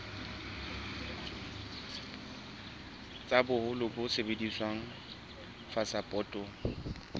tsa boholo bo sebediswang phasepotong